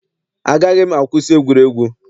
Agaghị m akwụsị egwuregwu.